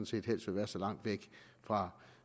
set helst vil være så langt væk fra